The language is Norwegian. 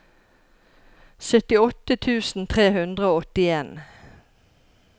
syttiåtte tusen tre hundre og åttien